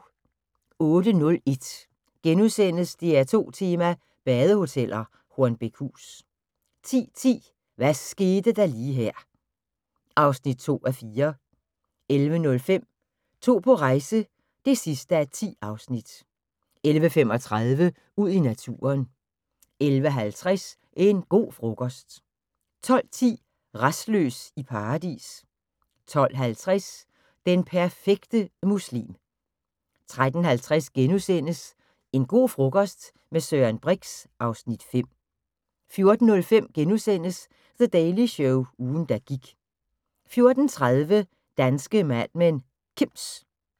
08:01: DR2 tema: Badehoteller - Hornbækhus * 10:10: Hvad skete der lige her (2:4) 11:05: To på rejse (10:10) 11:35: Ud i naturen 11:50: En go' frokost 12:10: Rastløs i Paradis 12:50: Den perfekte muslim 13:50: En go' frokost - med Søren Brix (Afs. 5)* 14:05: The Daily Show – ugen der gik * 14:30: Danske Mad Men: Kims